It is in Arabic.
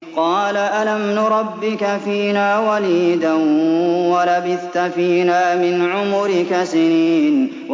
قَالَ أَلَمْ نُرَبِّكَ فِينَا وَلِيدًا وَلَبِثْتَ فِينَا مِنْ عُمُرِكَ سِنِينَ